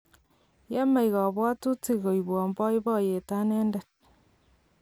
yemei kabwotutik koibwon boiboiyo anendet